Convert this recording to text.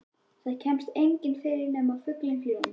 Þar kemst enginn yfir nema fuglinn fljúgandi.